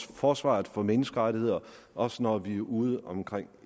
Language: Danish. forsvaret for menneskerettigheder også når vi er ude omkring